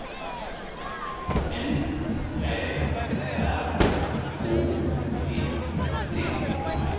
N Ä R H E T